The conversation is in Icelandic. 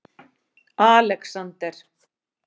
Alexander